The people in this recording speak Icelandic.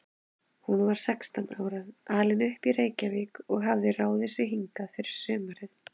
Hún var sextán ára, alin upp í Reykjavík og hafði ráðið sig hingað fyrir sumarið.